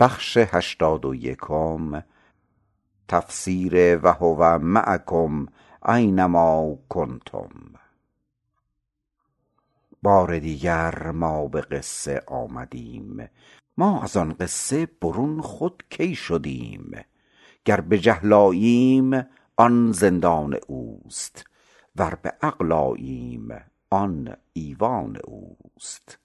بار دیگر ما به قصه آمدیم ما از آن قصه برون خود کی شدیم گر به جهل آییم آن زندان اوست ور به علم آییم آن ایوان اوست